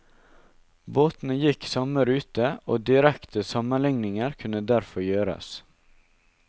Båtene gikk samme rute og direkte sammenligninger kunne derfor gjøres.